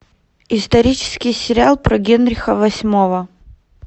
исторический сериал про генриха восьмого